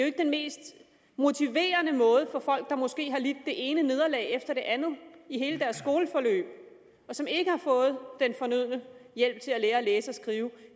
ikke det mest motiverende for folk der måske har lidt det ene nederlag efter det andet i hele deres skoleforløb og som ikke har fået den fornødne hjælp til at lære at læse og skrive